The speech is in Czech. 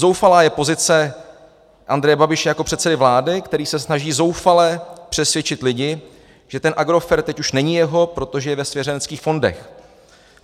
Zoufalá je pozice Andreje Babiše jako předsedy vlády, který se snaží zoufale přesvědčit lidi, že ten Agrofert teď už není jeho, protože je ve svěřenských fondech.